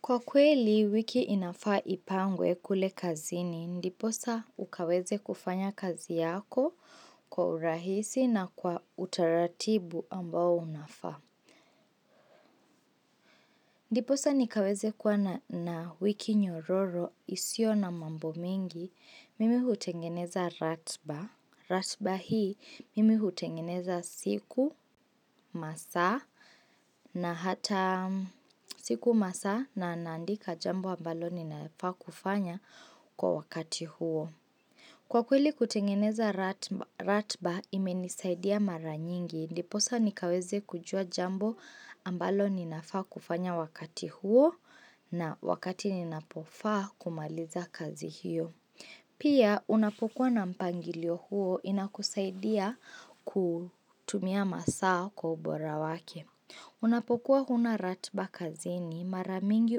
Kwa kweli wiki inafaa ipangwe kule kazini, ndiposa ukaweze kufanya kazi yako kwa urahisi na kwa utaratibu ambao unafaa. Ndiposa nikaweze kuwa na wiki nyororo isiyo na mambo mengi, mimi hutengeneza ratiba. Ratiba hii mimi hutengeneza siku masaa na hata siku masaa na naandika jambo ambalo ninafaa kufanya kwa wakati huo. Kwa kweli kutengeneza ratiba imenisaidia mara nyingi, ndiposa nikaweze kujua jambo ambalo ninafaa kufanya wakati huo na wakati ninapofaa kumaliza kazi hiyo. Pia, unapokuwa na mpangilio huo inakusaidia kutumia masaa kwa ubora wake. Unapokuwa huna ratiba kazini mara mingi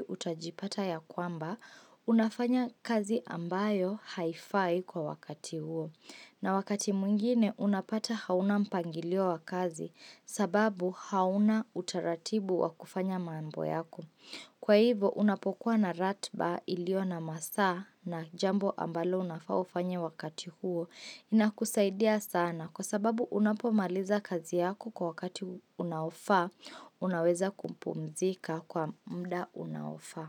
utajipata ya kwamba, unafanya kazi ambayo haifai kwa wakati huo. Na wakati mwingine, unapata hauna mpangilio wa kazi sababu hauna utaratibu wa kufanya maambo yako. Kwa hivo unapokuwa na ratiba iliyo na masaa na jambo ambalo unafaa ufanye wakati huo inakusaidia sana kwa sababu unapomaliza kazi yako kwa wakati unaofaa unaweza kumpumzika kwa muda unaofa.